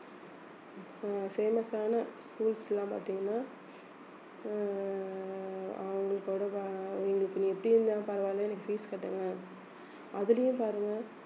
அஹ் famous ஆன schools எல்லாம் பார்த்தீங்கன்னா அஹ் அவங்களுக்கு நீ எப்படி இருந்தாலும் பரவாயில்லை எனக்கு fees கட்டுங்க அதுலயும் பாருங்க